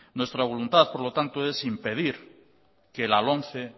nuestra voluntad por lo tanto es impedir que la lomce